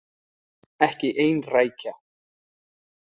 Ekki ein rækja.